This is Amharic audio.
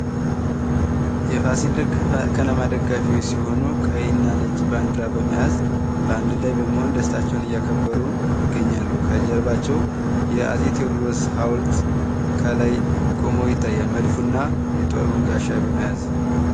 የፋሲል ከነማ ደጋፊዎች ሲሆኑ ቀይና ነጭ ባዲራ በመያዝ ባንድ ላይ በመሆን ደስታቸውን እያከበሩ ይገኛሉ። ከጀርባቸው የአፄ ቴዎድሮስ ሀውልት ከላይ ቆሞ ይታያል። መድፉና የጡሩን ጋሻ በመያዝ።